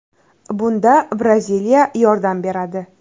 Bunda Braziliya yordam beradi.